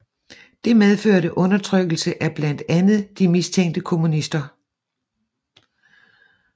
Det medførte undertrykkelse af blandt andet de mistænkte kommunister